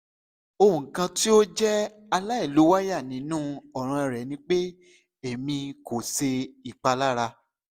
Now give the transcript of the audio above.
ohun kan ti o jẹ alailowaya ninu ọran rẹ ni pe emi ko ṣe ipalara